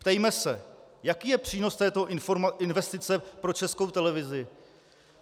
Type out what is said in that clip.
Ptejme se: Jaký je přínos této investice pro Českou televizi?